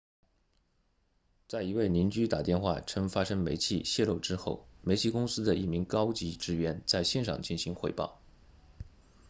在一位邻居打电话称发生煤气泄漏之后煤气公司的一名高级职员在现场进行汇报